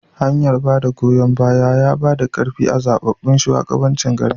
hanyar bada goyon baya yabada karfi a zababbun shugabancin garin